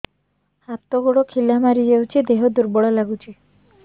ହାତ ଗୋଡ ଖିଲା ମାରିଯାଉଛି ଦେହ ଦୁର୍ବଳ ଲାଗୁଚି